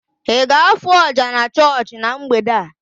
Ị ga-afụ oja na chọọchị na mgbede a?